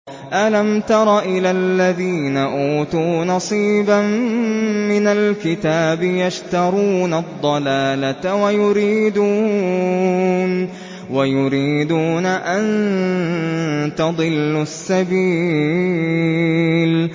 أَلَمْ تَرَ إِلَى الَّذِينَ أُوتُوا نَصِيبًا مِّنَ الْكِتَابِ يَشْتَرُونَ الضَّلَالَةَ وَيُرِيدُونَ أَن تَضِلُّوا السَّبِيلَ